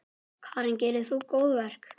Karen: Gerir þú góðverk?